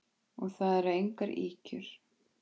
Og það eru engar ýkjur.